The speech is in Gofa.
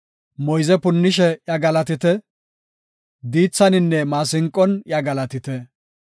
Moyze punnishe iya galatite; diithaninne maasinqon iya galatite.